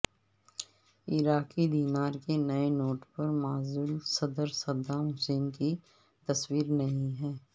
عراقی دینار کے نئے نوٹ پر معزول صدر صدام حسین کی تصویر نہیں ہے